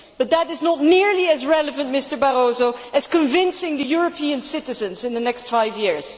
But that is not nearly as relevant, Mr Barroso, as convincing the European citizens in the next five years.